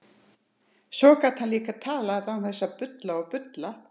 Svo gat hann líka talað án þess að bulla og bulla.